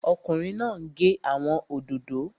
Ọkùnrin náà n gé àwọn òdòdó